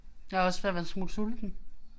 Jeg er også ved at være en smule sulten